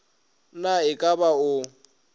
na e ka ba o